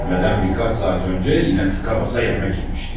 Ölmədən bir qaç saat öncə yenə tıqa basa yemək yemişdi.